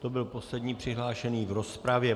To byl poslední přihlášený v rozpravě.